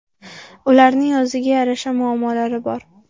Ularning o‘ziga yarasha muammolari bor.